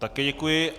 Také děkuji.